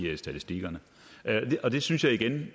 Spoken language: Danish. i statistikkerne det synes jeg igen